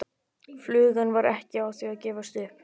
Flugan var ekki á því að gefast upp.